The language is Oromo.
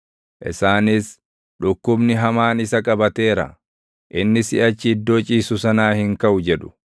Isaanis, “Dhukkubni hamaan isa qabateera; inni siʼachi iddoo ciisu sanaa hin kaʼu” jedhu.